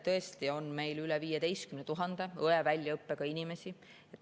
Tõesti, meil on üle 15 000 õe väljaõppega inimese.